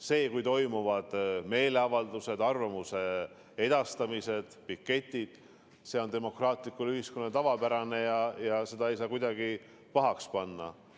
See, kui toimuvad meeleavaldused, arvamuse edastamised, piketid, see on demokraatlikule ühiskonnale tavapärane ja seda ei saa kuidagi pahaks panna.